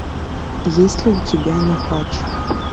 есть ли у тебя нюхач